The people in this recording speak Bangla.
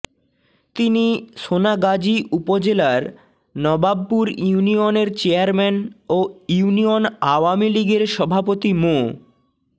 তিনি সোনাগাজী উপজেলার নবাবপুর ইউনিয়নের চেয়ারম্যান ও ইউনিয়ন আওয়ামী লীগের সভাপতি মো